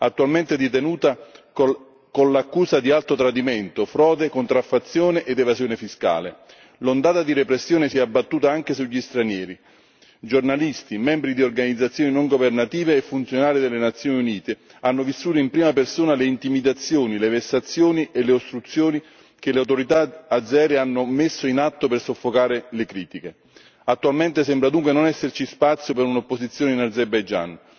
Attualmente detenuta con l'accusa di alto tradimento, frode, contraffazione ed evasione fiscale. L'ondata di repressione si è abbattuta anche sugli stranieri giornalisti, membri di organizzazioni non governative e funzionari delle Nazioni Unite hanno vissuto in prima persona le intimidazioni, le vessazioni e le ostruzioni che le autorità azere hanno messo in atto per soffocare le critiche. Attualmente, sembra dunque non esserci spazio per un'opposizione in Azerbaijan.